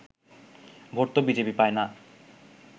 vote তো BJP পায় না